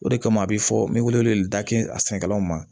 O de kama a be fɔ n be wele wele da kɛ a sɛnɛkɛlaw ma